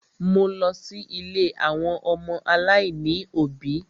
Mo lọ sí ilé àwọn ọmọ aláìní òbí.